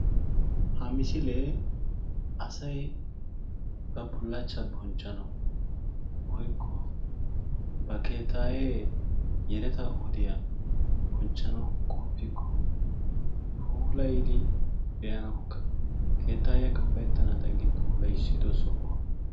Ha misilee asay ba bullaachchaa bonchchanawu woykko ba keettayee yeleta wodiya bonchchanawu qoppiikko puulayidi be'anaawukka keettaayiya kappayettenaadan gi puulayissiddo sohuwa.